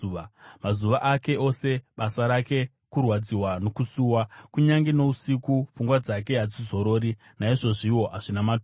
Mazuva ake ose basa rake kurwadziwa nokusuwa; kunyange nousiku pfungwa dzake hadzizorori. Naizvozviwo hazvina maturo.